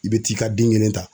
I bɛ t'i ka den kelen ta.